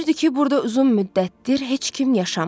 Görünürdü ki, burda uzun müddətdir heç kim yaşamır.